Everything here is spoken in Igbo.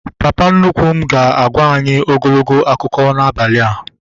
Papa nnukwu m ga-agwa anyị ogologo akụkọ n'abalị a